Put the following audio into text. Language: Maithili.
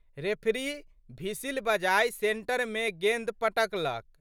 रेफरी भिसिल बजाए सेंटरमे गेंद पटकलक।